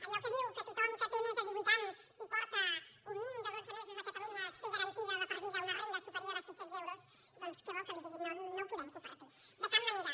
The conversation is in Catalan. allò que diu que tothom que té més de divuit anys i fa un mínim de dotze mesos que és a catalunya té garantida de per vida una renda superior a sis cents euros doncs què vol que li digui no ho podem compartir de cap manera